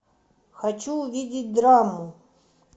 хочу увидеть драму